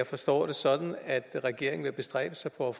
forstås sådan at regeringen vil bestræbe sig på at